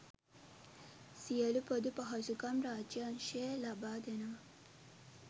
සියලු පොදු පහසුකම් රාජ්‍ය අංශයෙන් ලබා දෙනවා.